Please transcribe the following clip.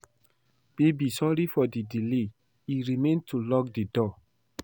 Babe sorry for the delay e remain to lock the door